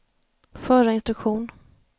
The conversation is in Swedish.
förra instruktion